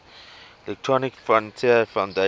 electronic frontier foundation